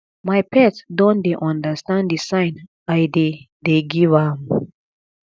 my pet don dey understand the sign i dey dey give am